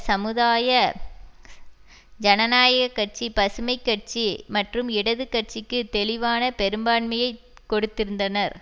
சமூதாய ஜனநாயக கட்சி பசுமை கட்சி மற்றும் இடது கட்சிக்கு தெளிவான பெரும்பான்மையை கொடுத்திருந்தனர்